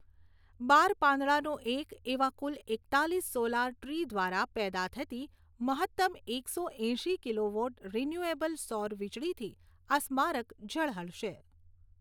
બાર પાંદડાંનું એક એવા કુલ એકતાલીસ સોલાર ટ્રી દ્વારા પેદા થતી મહત્તમ એકસો એંશી કિલોવોટ રિન્યૂએબલ સૌરવીજળીથી આ સ્મારક ઝળહળશે.